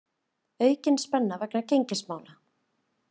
Aukin spenna vegna gengismála